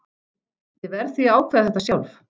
Ég verð því að ákveða þetta sjálf.